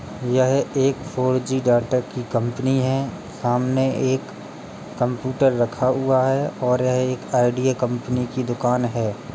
यह एक four G data की कंपनी है। सामने एक कंप्यूटर रखा हुआ है और यह एक आइडीया कंपनी की दुकान है।